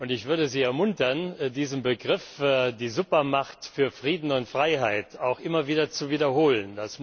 Ich würde Sie ermuntern, diesen Begriff, die Supermacht für Frieden und Freiheit, auch immer wieder zu wiederholen.